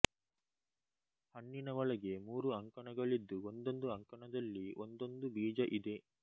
ಹಣ್ಣಿನ ಒಳಗೆ ಮೂರು ಅಂಕಣಗಳಿದ್ದು ಒಂದೊಂದು ಅಂಕಣದಲ್ಲಿ ಒಂದೊಂದು ಬೀಜ ಇದೆ